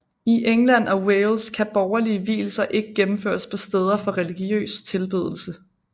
I England og Wales kan borgerlige vielser ikke gennemføres på steder for religiøs tilbedelse